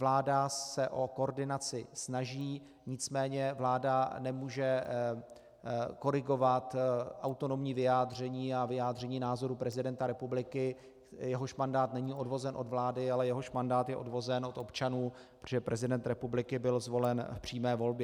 Vláda se o koordinaci snaží, nicméně vláda nemůže korigovat autonomní vyjádření a vyjádření názorů prezidenta republiky, jehož mandát není odvozen od vlády, ale jehož mandát je odvozen od občanů, protože prezident republiky byl zvolen v přímé volbě.